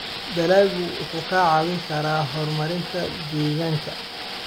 Dalaggu wuxuu kaa caawin karaa horumarinta deegaanka.